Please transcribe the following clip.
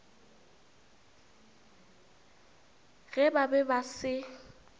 ge ba be ba se